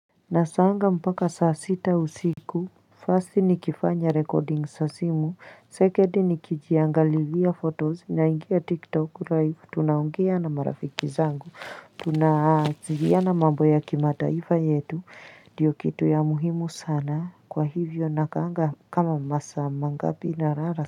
Nasaanga mpaka saa sita usiku first nikifanya recording za simu second nikijiangalizia photos naingia tiktok live tunaongea na marafiki zangu tunawasiliana mambo ya kimataifa yetu ndiyo kitu ya muhimu sana kwa hivyo nakaanga kama masaa mangapi nalala.